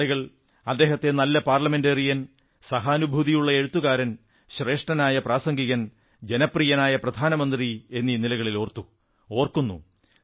ആളുകൾ അദ്ദേഹത്തെ നല്ല പാർലമെന്റേറിയൻ സഹാനുഭൂതിയുള്ള എഴുത്തുകാരൻ ശ്രേഷ്ഠനായ പ്രാസംഗികൻ ജനപ്രിയനായ പ്രധാനമന്ത്രി എന്നീ നിലകളിൽ ഓർത്തു ഓർക്കുന്നു